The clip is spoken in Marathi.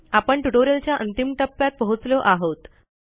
आपण ट्युटोरियलच्या अंतिम टप्प्यात पोहोचलो आहोत